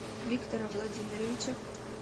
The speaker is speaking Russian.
виктора владимировича